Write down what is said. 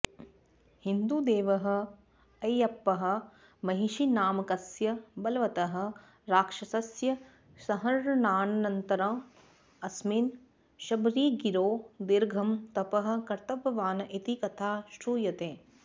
हिन्दुदेवः अय्यप्पः महिषिनामकस्य बलवतः राक्षसस्य संहरणानन्तरम् अस्मिन् शबरिगिरौ दीर्घं तपः कृतवान् इति कथा श्रूयते